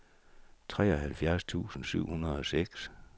treoghalvfjerds tusind syv hundrede og seks